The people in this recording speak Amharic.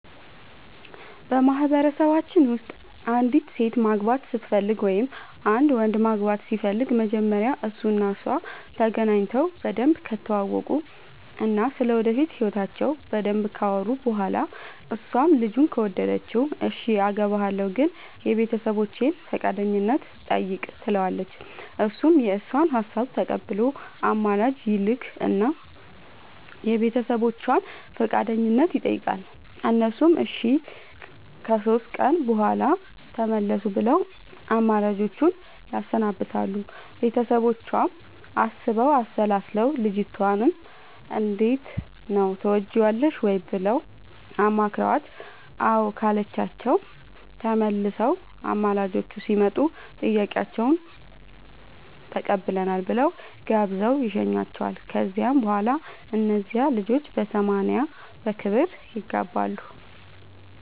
በማህበረሰባችን ውስጥ አንዲት ሴት ማግባት ስትፈልግ ወይም አንድ ወንድ ማግባት ሲፈልግ መጀመሪያ እሱ እና እሷ ተገናኝተው በደንብ ከተዋወቁ እና ስለ ወደፊት ህይወታቸው በደንብ ካወሩ በኋላ እሷም ልጁን ከወደደችው እሽ አገባሀለሁ ግን የቤተሰቦቼን ፈቃደኝነት ጠይቅ ትለዋለች እሱም የእሷን ሀሳብ ተቀብሎ አማላጅ ይልክ እና የቤተሰቦቿን ፈቃደኝነት ይጠይቃል እነሱም እሺ ከሶስት ቀን በኋላ ተመለሱ ብለው አማላጆቹን ያሰናብታሉ ቤተሰቦቿም አስበው አሠላስለው ልጅቷንም እንዴት ነው ትወጅዋለሽ ወይ ብለው አማክረዋት አዎ ካለቻቸው ተመልሰው አማላጆቹ ሲመጡ ጥያቄያችሁን ተቀብለናል ብለው ጋብዘው ይሸኙዋቸዋል ከዚያ በኋላ እነዚያ ልጆች በሰማንያ በክብር ይጋባሉ።